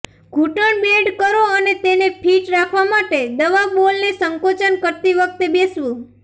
ઘૂંટણ બેન્ડ કરો અને તેને ફિટ રાખવા માટે દવા બોલને સંકોચન કરતી વખતે બેસવું